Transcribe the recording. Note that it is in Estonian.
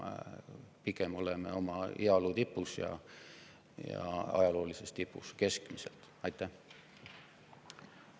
Pigem oleme oma heaolu tipus, ajaloolises tipus oma keskmiste.